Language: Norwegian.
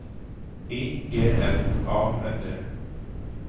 I G L A N D